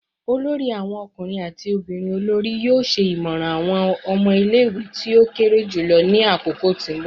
olori awon ọkunrin ati ọmọbirin olori yoo ṣe imọran awọn ọmọ ile-iwe ti o kere julọ ni akoko ti nbọ